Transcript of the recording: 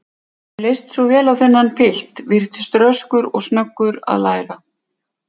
Mér leist svo vel á þennan pilt, virtist röskur og snöggur að læra.